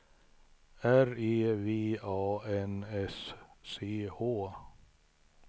R E V A N S C H